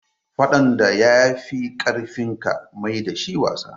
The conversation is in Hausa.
Faɗan da ya fi ƙarfinka maida shi wasa.